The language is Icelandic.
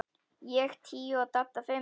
Ég tíu og Dadda fimm.